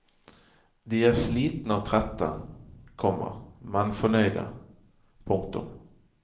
De er slitne og trette, komma men fornøyde. punktum